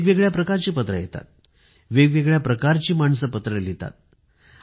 वेगवेगळ्या प्रकारची पत्रे येतात वेगवेगळ्या प्रकारची माणसे पत्रे लिहितात